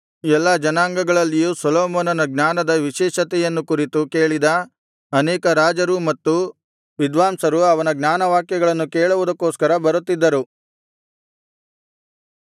ಎಲ್ಲಾ ಜನಾಂಗಗಳಲ್ಲಿಯೂ ಸೊಲೊಮೋನನ ಜ್ಞಾನದ ವಿಶೇಷತೆಯನ್ನು ಕುರಿತು ಕೇಳಿದ ಅನೇಕ ರಾಜರೂ ಮತ್ತು ವಿದ್ವಾಂಸರು ಅವನ ಜ್ಞಾನವಾಕ್ಯಗಳನ್ನು ಕೇಳುವುದಕ್ಕೋಸ್ಕರ ಬರುತ್ತಿದ್ದರು